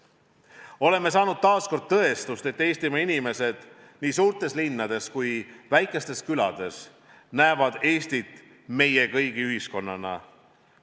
Oleme saanud taas kord tõestust, et Eestimaa inimesed nii suurtes linnades kui ka väikestes külades näevad Eestit meie kõigi ühiskonnana.